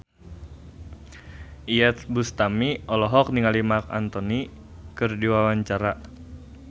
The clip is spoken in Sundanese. Iyeth Bustami olohok ningali Marc Anthony keur diwawancara